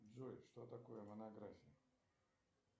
джой что такое монография